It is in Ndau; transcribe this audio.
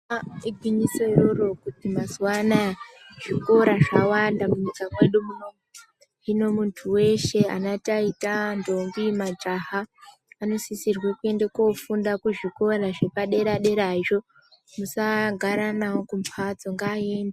Igwinyiso iroro kuti mazuwa anaya zvikora zvawanda munyika mwedu muno hino muntu weshe ana taita, ntombi, majaha anosisirwa kuenda kofunda kuzvikora zvepadera derazvo musagara nawo kumhatso ngaende.